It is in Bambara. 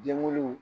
Denwuluw